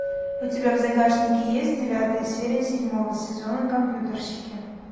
у тебя в загашнике есть девятая серия седьмого сезона компьютерщики